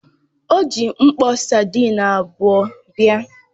O ji mkpo sadịn abuo bịa.